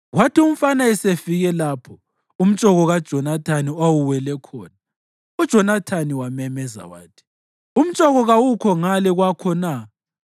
Kwathi umfana esefike lapho umtshoko kaJonathani owawuwele khona, uJonathani wamemeza wathi, “Umtshoko kawukho ngale kwakho na?”